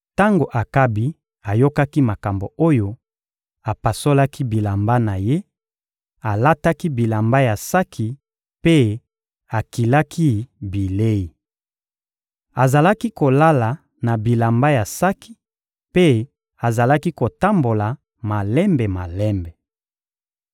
Tango Akabi ayokaki makambo oyo, apasolaki bilamba na ye, alataki bilamba ya saki mpe akilaki bilei. Azalaki kolala na bilamba ya saki mpe azalaki kotambola malembe-malembe.